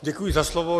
Děkuji za slovo.